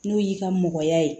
N'o y'i ka mɔgɔya ye